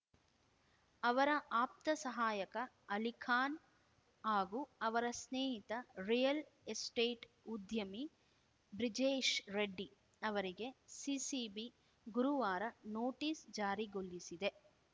ಅವರ ಆಪ್ತ ಸಹಾಯಕ ಅಲಿಖಾನ್‌ ಹಾಗೂ ಅವರ ಸ್ನೇಹಿತ ರಿಯಲ್‌ ಎಸ್ಟೇಟ್‌ ಉದ್ಯಮಿ ಬ್ರಿಜೇಶ್‌ ರೆಡ್ಡಿ ಅವರಿಗೆ ಸಿಸಿಬಿ ಗುರುವಾರ ನೋಟಿಸ್‌ ಜಾರಿಗೊಳಿಸಿದೆ